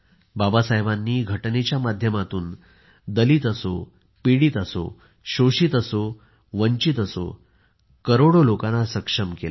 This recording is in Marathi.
बाबासाहेबांनी घटनेच्या माध्यमातून दलित असो पीडीत असो शोषित असो वंचित असो करोडो लोकांना सक्षम केले